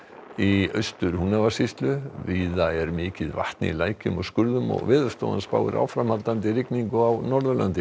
í Austur Húnavatnssýslu víða er mikið vatn í lækjum og skurðum Veðurstofan spáir áframhaldandi rigningu á Norðurlandi